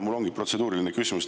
Mul on protseduuriline küsimus.